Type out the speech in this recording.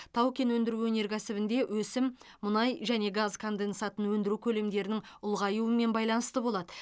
тау кен өндіру өнеркәсібінде өсім мұнай және газ конденсатын өндіру көлемдерінің ұлғаюымен байланысты болады